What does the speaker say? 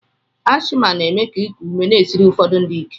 Ashma na-eme ka iku ume na-esiri ụfọdụ ndị ike.